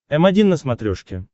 м один на смотрешке